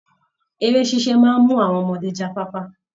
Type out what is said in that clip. Eré ṣíṣe maa ń mú àwọn ọmọdé jáfáfa